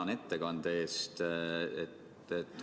Tänan ettekande eest!